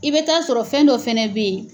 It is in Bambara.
I bɛ taa sɔrɔ fɛn dɔ fɛnɛ bɛ yen.